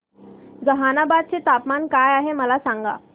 जहानाबाद चे तापमान काय आहे मला सांगा